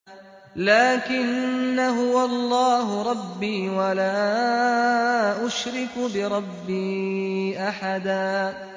لَّٰكِنَّا هُوَ اللَّهُ رَبِّي وَلَا أُشْرِكُ بِرَبِّي أَحَدًا